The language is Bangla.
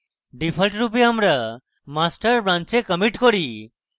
ডিফল্টভাবে আমরা master branch we commit করি